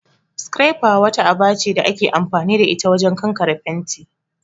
'Scrapper'' wata aba ce da ake amfani da ita wajen kankare fenti